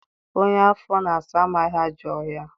Onye afọ na-asa amaghị ajọ ọhịa